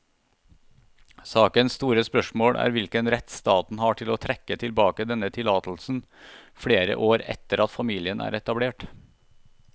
Sakens store spørsmål er hvilken rett staten har til å trekke tilbake denne tillatelsen flere år etter at familien er etablert.